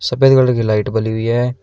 और पहली वाली की लाइट बली हुई है।